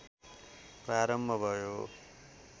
प्रारम्भ भयो